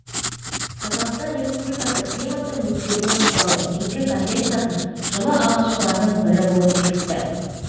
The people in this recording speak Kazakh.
қазақстан республикасы климаттың өзгеруі туралы негізгі конвенциясын жылы алғашқылардың бірі болып бекітті